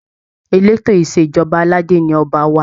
Eleto Ìṣèjọba aládé ni Ọba wa.